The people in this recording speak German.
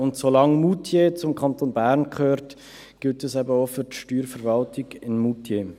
Und solange Moutier zum Kanton Bern gehört, gilt das eben auch für die Steuerverwaltung in Moutier.